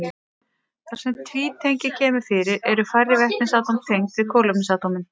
Þar sem tvítengi kemur fyrir eru færri vetnisatóm tengd við kolefnisatómin.